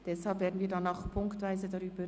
Deshalb werden wir auch punktweise abstimmen.